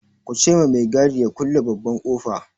Ku ce ma mai gadi ya kulle babban ƙofa!